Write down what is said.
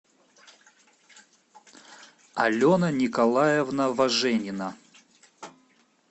алена николаевна воженина